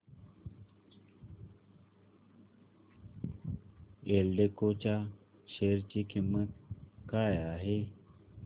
एल्डेको च्या शेअर ची किंमत काय आहे